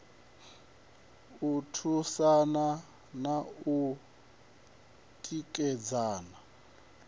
u thusana na u tikedzana